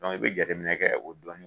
Dɔnku i bɛ jate minɛ kɛ o dilanni.